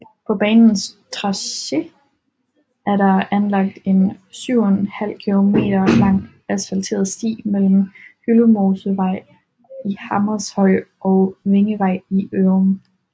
På banens tracé er der anlagt en 7½ km lang asfalteret sti mellem Hyldemosevej i Hammershøj og Vingevej i Ørum